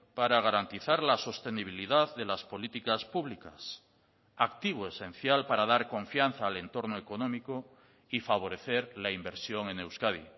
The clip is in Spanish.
para garantizar la sostenibilidad de las políticas públicas activo esencial para dar confianza al entorno económico y favorecer la inversión en euskadi